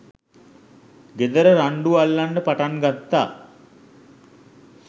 ගෙදර රණ්ඩු අල්ලන්න පටන්ගත්තා